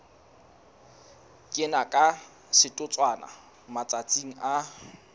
kena ka setotswana matsatsing a